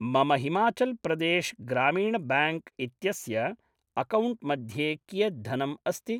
मम हिमाचल्‌ प्रदेश्‌ ग्रामीण्‌ ब्याङ्क् इत्यस्य अकाौण्ट् मध्ये कियत् धनम् अस्ति